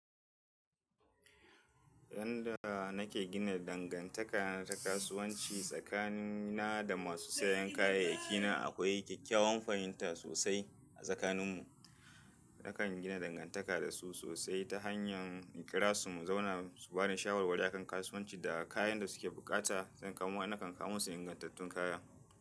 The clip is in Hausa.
Yanda nake gina dangantaka ta kasuwanci tsakanina da masu sayan kayayyaki na akwai kyakkyawan fahimta sosai a tsakaninmu. Nakan gina dangantaka da su sosai ta hanyar in kira su mu zauna su bani shawarwari a kan kasuwanci da kayan da suke bukata sannan kuma nakan kawo musu ingantattun kaya.